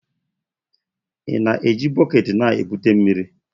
Ị na-eji bọket na-ebute mmiri?